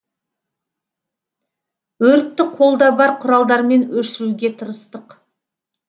өртті қолда бар құралдармен өшіруге тырыстық